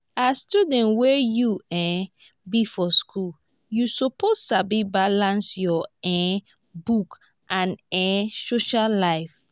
as student wey you um be for school you suppose sabi balance your um books and um social life.